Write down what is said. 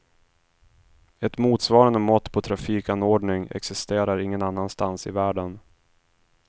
Ett motsvarande mått på trafikanordning existerar ingen annanstans i världen.